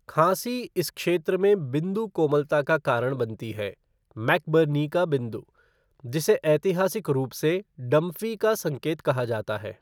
खाँसी इस क्षेत्र में बिंदु कोमलता का कारण बनती है, मैकबर्नी का बिंदु, जिसे ऐतिहासिक रूप से डंफ़ी का संकेत कहा जाता है।